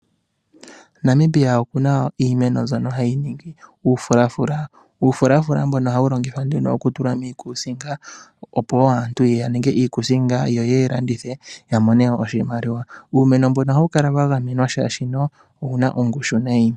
Namibia oku na iimeno mbyoka hayi ningi omafulafula. Omafulafula ngoka ohaga longithwa okutula miikuusinga, opo aantu ya ninge iikuusinga, yo ye yi landithe ya a mone oshimaliwa. Uumeno mbono oha wu kala wa gamenwa oshoka owu na ongushu.